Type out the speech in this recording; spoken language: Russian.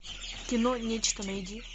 кино нечто найди